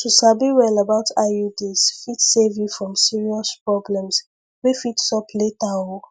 to sabi well about iuds fit save you from serious problems wey fit sup later o